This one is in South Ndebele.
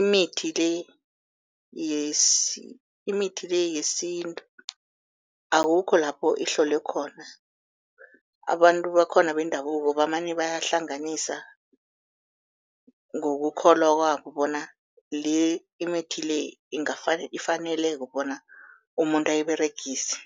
imithi le imithi le yesintu akukho lapho ihlolwe khona, abantu bakhona bendabuko bamane bayahlanganisa ngokukholwa kwabo bona le imithi le ifaneleke bona umuntu ayiberegise.